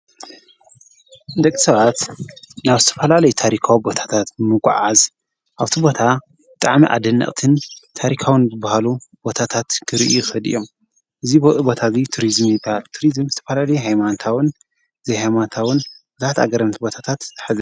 ደቕሰባት ናብ ስተፈላለይ ታሪካዊ ቦታታት ምጐዓዝ ኣውቲ ቦታ ጠዕሚ ኣደንቕትን ታሪካውን ብብሃሉ ቦታታት ክርእኽድ እዮም እዝ በኢ ቦታዙይ ቱርዝም ነባል ቱሪዝም ዝተፈላል ሃይማንታውን ዘይኃይማንታውን ብዛት ኣገረምቲ ቦታታት ይርከቡ።